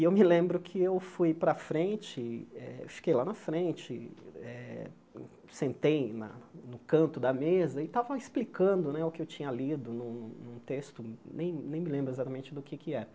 E eu me lembro que eu fui para a frente, eh fiquei lá na frente eh, sentei na no canto da mesa e estava explicando o que eu tinha lido num num texto, nem nem me lembro exatamente do que é que era.